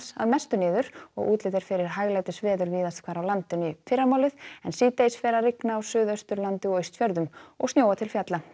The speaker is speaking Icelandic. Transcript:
að mestu niður og útlit fyrir hæglætisveður víðast hvar á landinu í fyrramálið en síðdegis fer að rigna á Suðausturlandi og Austfjörðum og snjóa til fjalla